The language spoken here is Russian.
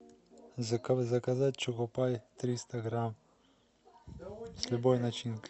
заказать чокопай триста грамм с любой начинкой